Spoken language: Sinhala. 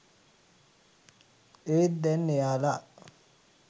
ඒත් දැන් එයාලා